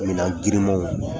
Minan girinmanw